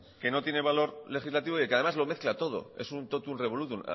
que no tiene valor legislativo y que además lo mezcla todo es un totum revolutum